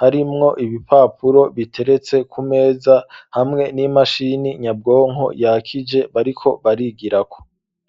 harimwo ibipapuro biteretse ku meza hamwe n'imashini nyabwonko yakije bariko barigirako.